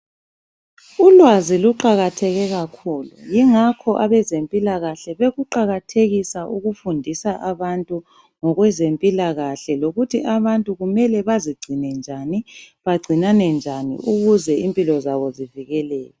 Ulwazi luqakatheke kakhulu yingakho abezempilakahle bekuqakathekisa ukufundisa abantu ngokwezempilakahle lokuthi abantu kumele bazicine njani bagcinane njani ukuze impilo zabo zivikeleke.